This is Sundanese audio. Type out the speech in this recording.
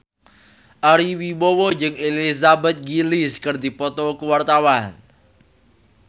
Ari Wibowo jeung Elizabeth Gillies keur dipoto ku wartawan